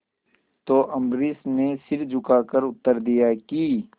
तो अम्बरीश ने सिर झुकाकर उत्तर दिया कि